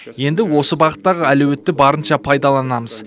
енді осы бағыттағы әлеуетті барынша пайдаланамыз